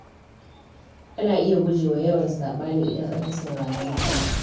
Ana iya guje wa yawan saɓani idan an fi sauraron juna.